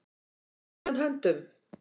Takið hann höndum.